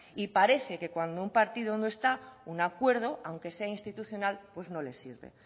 y parece que cuando un partido no está en un acuerdo aunque sea institucional pues no les sirve